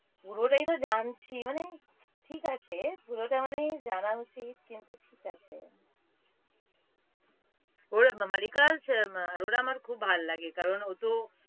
পুরোটাই তো জানছি মানে, ঠিক আছে পুরোটা মানে জানা উচিত কিন্ত ঠিক আছে। ওটা না মাল্লিকার ~ আরোরা আমার খুব ভালো লাগে কারণ ও তো